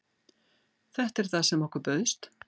Þetta er það sem okkur bauðst